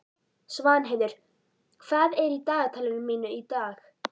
Svanheiður, hvað er í dagatalinu mínu í dag?